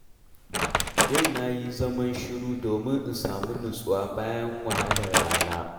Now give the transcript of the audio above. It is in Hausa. Yau na yi zaman shiru domin in samu nutsuwa bayan wahalar rana.